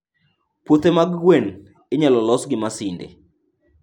Puothe mag gwen inyalo los gi masinde.